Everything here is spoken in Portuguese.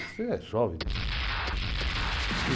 Você é jovem, bicho.